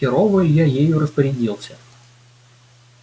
херово илья ею распорядился